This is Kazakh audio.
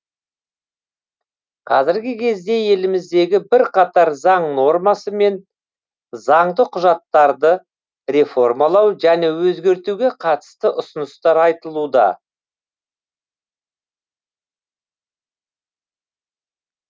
қазіргі кезде еліміздегі бірқатар заң нормасы мен заңды құжаттарды реформалау және өзгертуге қатысты ұсыныстар айтылуда